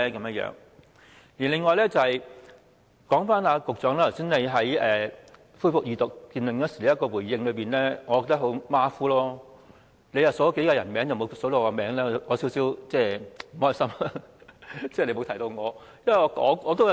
此外，我認為局長剛才在恢復二讀辯論時的回應十分馬虎，只提到數個人名，但沒有提及我的名字，我感到有點不快。